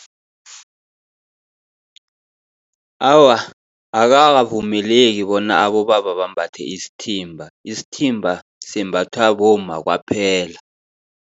Awa, akukavumeleki bona abobaba bambathe isithimba, isithimba simbathwa bomma kwaphela.